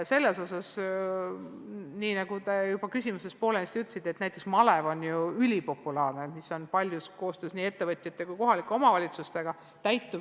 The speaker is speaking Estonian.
Nagu te oma küsimuses juba poolenisti ütlesite, on näiteks malev ülipopulaarne töövõimalus, mis toimib paljuski koostöös ettevõtjate ja kohalike omavalitsustega.